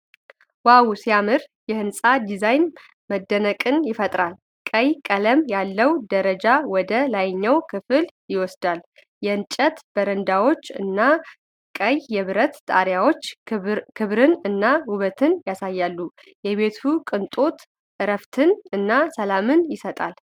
"ዋው! ሲያምር!" የህንፃ ዲዛይን መደነቅን ይፈጥራል። ቀይ ቀለም ያለው ደረጃ ወደ ላይኛው ክፍል ይወስዳል። የእንጨት በረንዳዎች እና ቀይ የብረት ጣሪያው ክብርን እና ውበትን ያሳያሉ። የቤቱ ቅንጦት እረፍትን እና ሰላምን ይሰጣል።